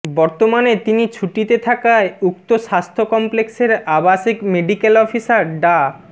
বর্তমানে তিনি ছুটিতে থাকায় উক্ত স্বাস্থ্য কমপ্লেক্সের আবাসিক মেডিক্যাল অফিসার ডা